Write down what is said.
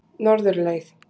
Norðurleið